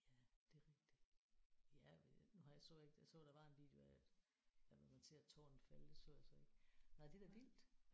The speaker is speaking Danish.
Ja det er rigtigt. Ja nu har jeg så ikke jeg så der var en video af det at hvor man ser tårnet falde det så jeg så ikke. Nåh det er da vildt